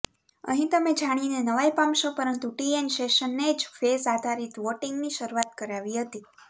અહીં તમે જાણીને નવાઇ પામશો પરંતુ ટીએન શેષનને જ ફેઝ આધારીત વોટિંગની શરૂઆત કરાવી હતી